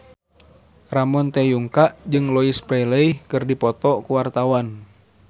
Ramon T. Yungka jeung Louise Brealey keur dipoto ku wartawan